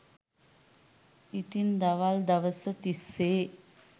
ඉතින් දවල් දවස තිස්සේ